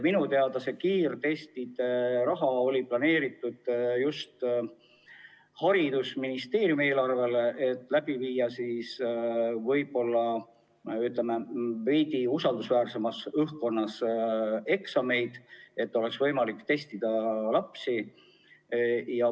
Minu teada oli kiirtestide raha planeeritud just haridusministeeriumi eelarvesse, et viia eksamid läbi võib-olla veidi usaldusväärsemas õhkkonnas ja testida lapsi.